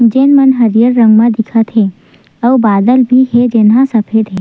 जे मन हरियर रंग मे दिखत हे अउ बादल भी हे जेन ह सफेद हे।